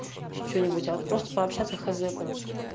ещё что-нибудь от просто пообщаться хз короче